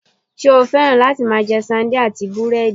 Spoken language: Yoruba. Njé o féràn láti máa je Sandine àti búrédì?